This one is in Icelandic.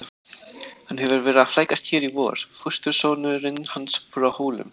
Hann hefur verið að flækjast hér í vor, fóstursonurinn hans frá Hólum.